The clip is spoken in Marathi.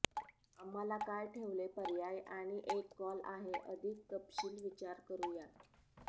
आम्हाला काय ठेवले पर्याय आणि एक कॉल आहे अधिक तपशील विचार करू या